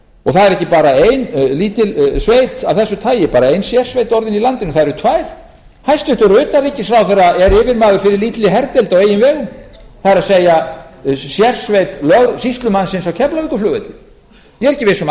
það er ekki bara ein lítil sveit af þessu tagi bara ein sérsveit orðin í landinu það eru tvær hæstvirts utanríkisráðherra er yfirmaður fyrir lítilli herdeild á eigin vegum það er sérsveit sýslumannsins á keflavíkurflugvelli ég er ekki viss um að